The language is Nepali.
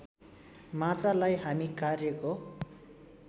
मात्रालाई हामी कार्यको